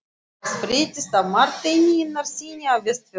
Það fréttist af Marteini Einarssyni á Vestfjörðum.